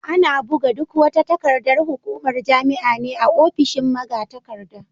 Ana buga duk wata takardar hukumar jami'a ne a ofishin magatakarda.